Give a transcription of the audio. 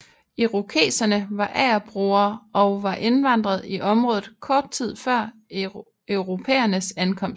Irokeserne var agerbrugere og var indvandret i området kort tid før europæernes ankomst